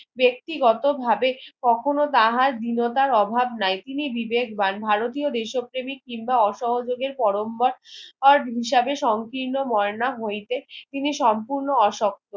ব্যক্তিগত ভাবে কখনো তাহার বিনোতার অভাব নাই তিনি বিবেকবান ভারতীয় দেশক প্রেমিক কিংবা অসহযোগের পরমবার আর হিসাবে সংক্রিন ময়না হইতে তিনি সম্পুর্ন্ন আসক্ত